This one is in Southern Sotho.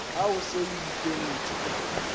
ha o se o ikentse